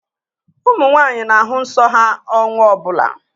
Ụmụ nwaanyị na-ahụ nsọ ha ọnwa ọbụla